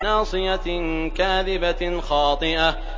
نَاصِيَةٍ كَاذِبَةٍ خَاطِئَةٍ